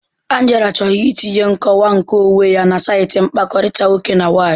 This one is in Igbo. Angela chọrọ itinye nkọwa nkeonwe ya na saịtị mkpakọrịta nwoke na nwaanyị.